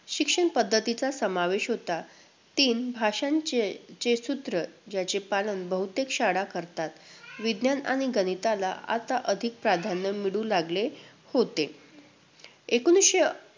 शिक्षण पद्धतीचा समावेश होता. तीन भाषांचे~ चे सूत्र, ज्याचे पालन बहुतेक शाळा करतात. विज्ञान आणि गणिताला आता अधिक प्राधान्य मिळू लागले होते. एकोणवीसशे